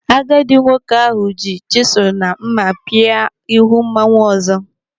Agadi nwoke ahụ ji chisụlụ na mma pị́a ihu mmanwu ọzọ.